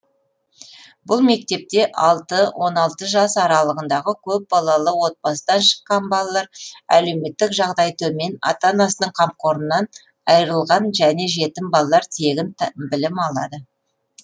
бұл мектепте алты он алты жас аралығындағы көп балалы отбасыдан шыққан балалар әлеуметтік жағдайы төмен ата анасының қамқорынан айырылған және жетім балалар тегін білім алады